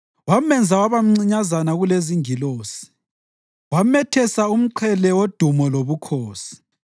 Wamenza waba mncinyazana kulezingilosi, wamethesa umqhele wodumo lobukhosi.